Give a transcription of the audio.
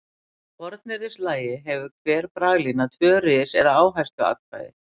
Í fornyrðislagi hefur hver braglína tvö ris eða áhersluatkvæði.